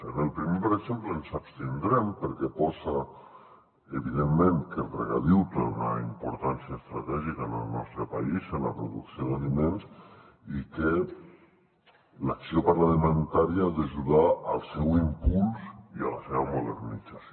en el primer per exemple ens abstindrem perquè posa evidentment que el regadiu té una importància estratègica en el nostre país en la producció d’aliments i que l’acció parlamentària ha d’ajudar al seu impuls i a la seva modernització